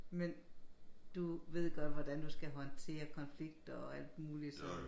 Men du ved godt hvordan du skal håndtere konflikter og alt muligt så